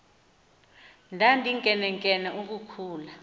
ndandinkenenkene uku khula